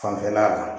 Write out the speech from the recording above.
Fanfɛla la